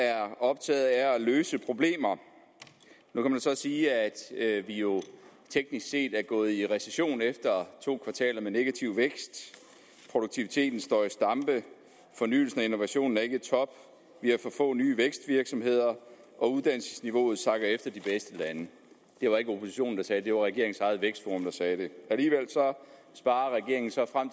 er optaget af at løse problemer nu kan man så sige at vi jo teknisk set er gået i recession efter to kvartaler med negativ vækst produktiviteten står i stampe fornyelsen og innovationen er ikke i top vi har for få nye vækstvirksomheder og uddannelsesniveauet sakker efter de bedste lande det var ikke oppositionen der sagde det det var regeringens eget vækstforum der sagde det alligevel sparer regeringen så frem